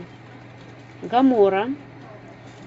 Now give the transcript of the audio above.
гомора